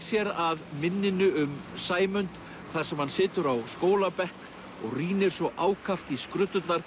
sér að minninu um Sæmund þar sem hann situr á skólabekk og rýnir svo ákaft í